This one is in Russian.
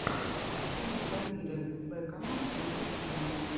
фильм дамира бэкама на ютьюбе